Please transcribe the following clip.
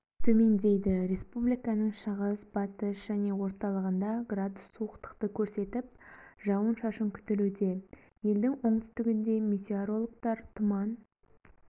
төмендейді республиканың шығыс батыс және орталығында градус суықтықты көрсетіп жауын-шашын күтілуде елдің оңтүстігінде метеорологтар тұман